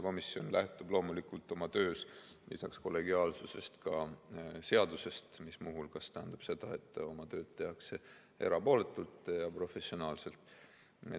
Komisjon lähtub oma töös loomulikult lisaks kollegiaalsusele ka seadusest, mis muu hulgas tähendab seda, et oma tööd tehakse erapooletult ja professionaalselt.